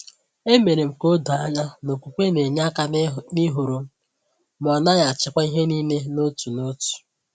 E mere m ka o doo anya na okwukwe na-enye aka n’ịhọrọ m, ma ọ naghị achịkwa ihe niile n’otu n’otu.